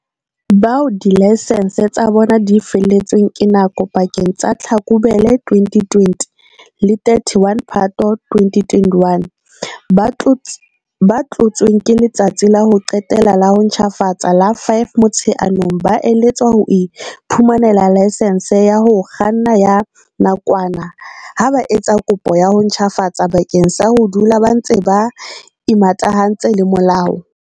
Bao dilaesense tsa bona di felletsweng ke nako pakeng tsa Tlhakubele 2020 le 31 Phato 2021, ba tlotsweng ke letsatsi la ho qetela la ho ntjhafatsa la 5 Motsheanong, ba eletswa ho iphumanela laesense ya ho kganna ya nakwana ha ba etsa kopo ya ho ntjhafatsa bakeng sa ho dula ba ntse ba imatahantse le molao.